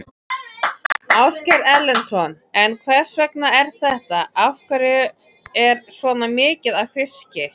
Ásgeir Erlendsson: En hvers vegna er þetta, af hverju er svona mikið af fiski?